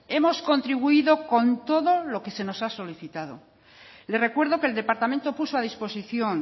hemos contribuido con todo lo que se nos ha solicitado le recuerdo que el departamento puso a disposición